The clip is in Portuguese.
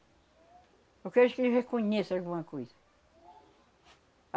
Eu quero que eles reconheçam alguma coisa.